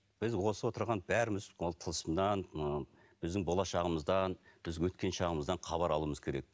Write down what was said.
біз осы отырған бәріміз ол тылсымнан ы біздің болашағымыздан біздің өткен шағымыздан хабар алуымыз керек